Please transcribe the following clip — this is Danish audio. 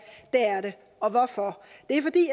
det er det og hvorfor